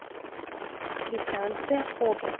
квитанция об